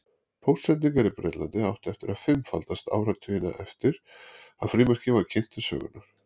Póstsendingar í Bretlandi áttu eftir að fimmfaldast áratuginn eftir að frímerkið var kynnt til sögunnar.